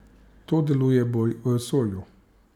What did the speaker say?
To deluje bolj v vesolju.